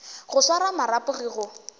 go swara marapo ge go